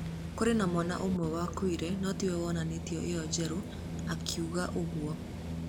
Kũrĩ mwana ũmwe wakuire no ti we wonetwo ĩyo njerũ, akiuga ũguo.